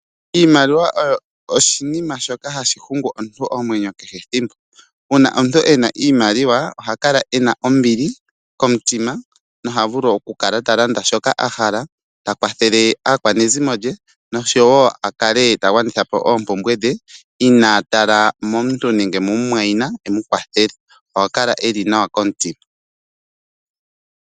Iimaliwa oyo oshinima shoka hashi hungu omuntu omwenyo kehe ethimbo . Uuna omuntu ena iimaliwa oha kala ena ombili komutima nohavulu okukala talanda shoka ahala ta kwathele aakwanezimo ye noshowo akale ta gwanithapo oompumbwe dhe inatala momuntu nenge mu mumwaina emukwathele . Oha kala eli nawa komutse .